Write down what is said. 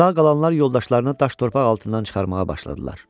Sağ qalanlar yoldaşlarını daş-torpaq altından çıxarmağa başladılar.